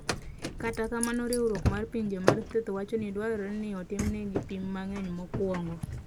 Kata kamano Riwruok mar Pinje mar Thieth wacho ni dwarore ni otimnegi pim mang’eny mokuongo.